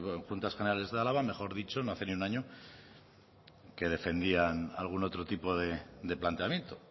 en juntas generales de álava mejor dicho no hace ni un año que defendían algún otro tipo de planteamiento